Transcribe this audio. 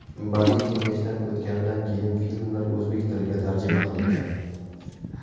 Badiiy kengashdan o‘tganidan keyin filmlar o‘zbek tiliga tarjima qilingan.